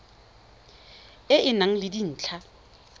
e e nang le dintlha